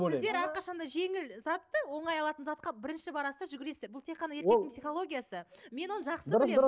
сіздер әрқашан да жеңіл затты оңай алатын затқа бірінші барасыз да жүгіресіздер бұл тек еркектің психологиясы мен оны жақсы